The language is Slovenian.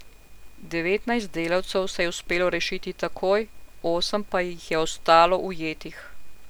Devetnajst delavcev se je uspelo rešiti takoj, osem pa jih je ostalo ujetih.